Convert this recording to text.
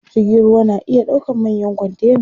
Jirgin ruwa na iya ɗaukan manyan kontena.